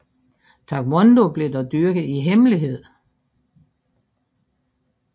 Taekwondo blev dog dyrket i hemmelighed